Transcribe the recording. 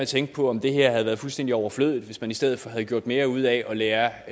tænke på om det her havde være fuldstændig overflødigt hvis man i stedet for havde gjort mere ud af at lære